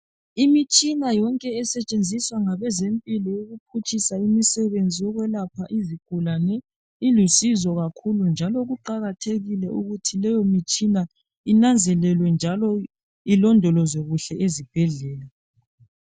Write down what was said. Imitshina yonke esetshenziswa ngabezempilo ukuphutshisa imisebenzi yokwelapha izigulane ilusizo kakhulu njalo kuqakathekile ukuthi leyomitshina inanzelelwe njalo ilondolozwe kuhle ezibhedlela.